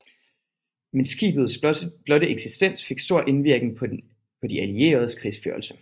Men skibets blotte eksistens fik stor indvirkning på de allieredes krigsførelse